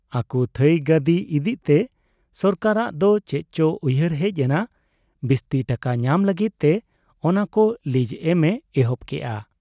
ᱟᱠᱚ ᱛᱷᱟᱺᱭ ᱜᱟᱹᱫᱤ ᱤᱫᱤᱜ ᱛᱮ ᱥᱚᱨᱠᱟᱨᱟᱜ ᱫᱚ ᱪᱮᱫ ᱪᱚ ᱩᱭᱦᱟᱹᱨ ᱦᱮᱡ ᱮᱱ , ᱵᱤᱥᱛᱤ ᱴᱟᱠᱟ ᱧᱟᱢ ᱞᱟᱜᱤᱫ ᱛᱮ ᱚᱱᱟᱠᱚ ᱞᱤᱜᱽ ᱮᱢ ᱮ ᱮᱦᱚᱵ ᱠᱮᱜ ᱟ᱾